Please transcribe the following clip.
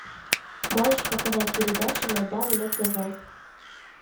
можешь показать передачу майдан на тв